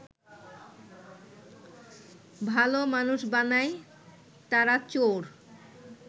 ভালো মানুষ বানায় তারা চোর